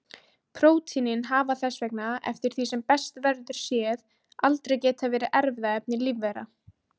Prótínin hafa þess vegna eftir því sem best verður séð aldrei getað verið erfðaefni lífvera.